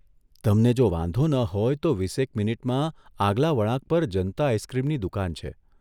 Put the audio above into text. તમને જો વાંધો ન હોય તો વીસેક મિનિટમાં આગલા વળાંક પર જનતા આઇસક્રીમની દુકાન છે.